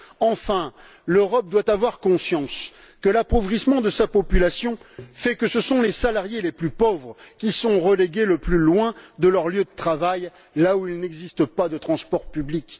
Enfin, l'Europe doit avoir conscience que, en raison de l'appauvrissement de sa population, ce sont les salariés les plus pauvres qui sont relégués le plus loin de leur lieu de travail, là où il n'existe pas de transport public.